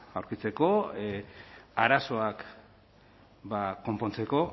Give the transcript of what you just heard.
aurkitzeko arazoak konpontzeko